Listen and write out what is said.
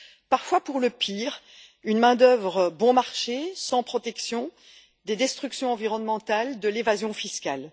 Parfois pour le pire une main d'œuvre bon marché, sans protection, des destructions environnementales, de l'évasion fiscale.